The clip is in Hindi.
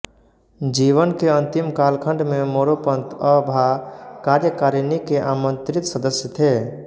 जीवन के अंतिम कालखण्ड में मोरोपंत अ भा कार्यकारिणी के आमंत्रित सदस्य थे